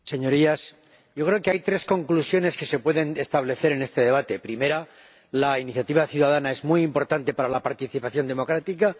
Señor Presidente, Señorías, yo creo que hay tres conclusiones que se pueden establecer en este debate primera, la iniciativa ciudadana es muy importante para la participación democrática